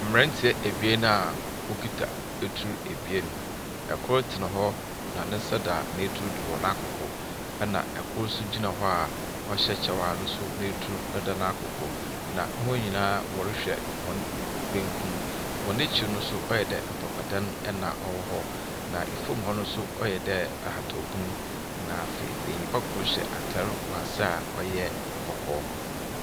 Mmeranteɛ ebien a wɔkita etuo ebien. Ɛkoro tena hɔ ne nsa da ne tuw do wɔ naakoko ɛna ɛkoro nso gyina hɔ a ɔhyɛ kyɛw a ɛtuw ɛda naakoko na wɔn nyinaa wɔrehwɛ wɔn benkum. Wɔn akyi no nso ayɛdɛɛ mpapadan ɛna ɛwɔ hɔ na ɛfam hɔ nso ayɛdɛɛ ahatɔpum na afei benyinbakoro hyɛ atare wɔ aseɛ a ɔyɛ kɔkɔɔ.